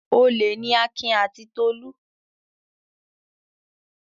Olè ni Akin àti Tolú.